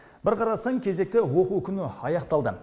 бір қарасаң кезекті оқу күні аяқталды